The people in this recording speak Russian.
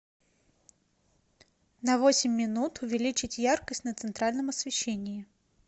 на восемь минут увеличить яркость на центральном освещении